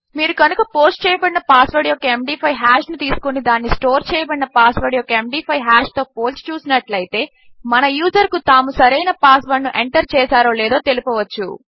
మీరు కనుక పోస్ట్ చేయబడిన పాస్ వర్డ్ యొక్క ఎండీ5 హాష్ ను తీసుకుని దానిని స్టోర్ చేయబడిన పాస్ వర్డ్ యొక్క ఎండీ5 హాష్ తో పోల్చి చూసినట్లు అయితే మన యూజర్ కు తాము సరైన పాస్ వర్డ్ ను ఎంటర్ చేసారో లేదో తెలపవచ్చు